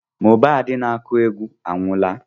Mohbad n'akụ egwu anwụola